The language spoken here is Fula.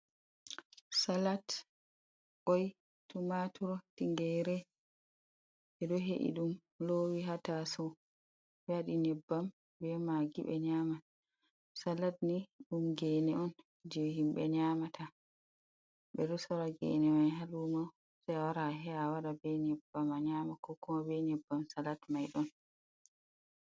Salat, koi, tumaturo, tingere be do he’i dum lowi hataso wadi nyebbam be magi bedo nyama salat ni dum gene on je himbe nyamata be do sora gene mai ha lumo se a wara a he’a wada be nyebbam man nyama kokuma be nyebbam salat mai don